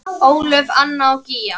Ólöf, Anna og Gígja.